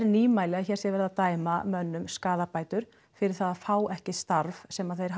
nýmæli að sé verið að dæma mönnum skaðabætur fyrir það að fá ekki starf sem þeir